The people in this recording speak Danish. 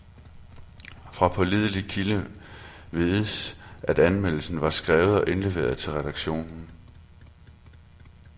Fra pålidelig kilde vides, at anmeldelsen var skrevet og indleveret til redaktionen.